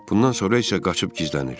Bundan sonra isə qaçıb gizlənir.